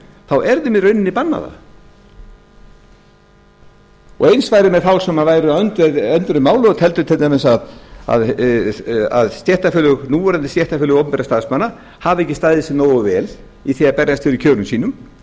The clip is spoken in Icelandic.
þá er þeim í rauninni bannað það eins væri með þá sem væru á öndverðu máli og teldu til dæmis að núverandi stéttarfélög opinberra starfsmanna hafi ekki staðið sig nógu vel í því að berjast fyrir kjörum sínum